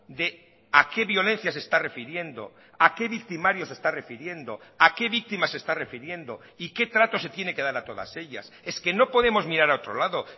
de a qué violencia se está refiriendo a qué victimarios se está refiriendo a qué víctimas se está refiriendo y qué trato se tiene que dar a todas ellas es que no podemos mirar a otro lado